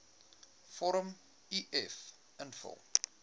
vorm uf invul